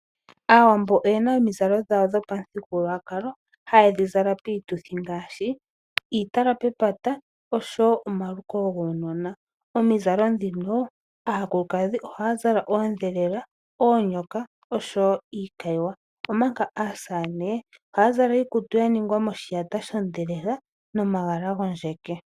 Aawambo oyena omizalo dhawo dhopamuthigululwakalo haye dhizala piituthi ngaashi, iitala pepata osho woo omaluko guunona. Omizalo dhino aakulukadhi ohaya zala oodhelela, oonyoka osho woo iikayiwa, omanga aasamane ohaya zala iikutu yaningwa moshiyata shodhelela nomagala gondjeke.